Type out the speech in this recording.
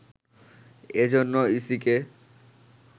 এ জন্য ইসিকে